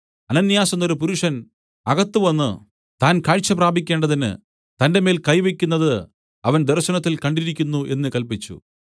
അനന്യാസ് എന്നൊരു പുരുഷൻ അകത്തുവന്ന് താൻ കാഴ്ച പ്രാപിക്കേണ്ടതിന് തന്റെമേൽ കൈ വയ്ക്കുന്നത് അവൻ ദർശനത്തിൽ കണ്ടിരിക്കുന്നു എന്നു കല്പിച്ചു